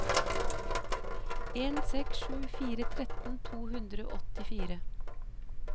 en seks sju fire tretten to hundre og åttifire